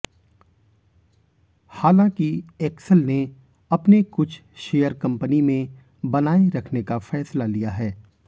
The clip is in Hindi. हालांकि ऐक्सल ने अपने कुछ शेयर कंपनी में बनाए रखने का फैसला लिया है